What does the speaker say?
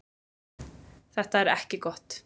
Þetta er ekki gott.